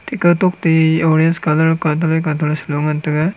teka tokte oranges colour katre katre saloe ngan taga.